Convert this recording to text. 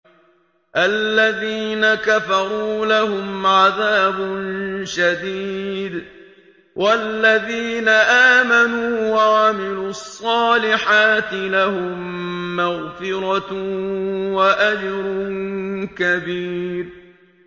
الَّذِينَ كَفَرُوا لَهُمْ عَذَابٌ شَدِيدٌ ۖ وَالَّذِينَ آمَنُوا وَعَمِلُوا الصَّالِحَاتِ لَهُم مَّغْفِرَةٌ وَأَجْرٌ كَبِيرٌ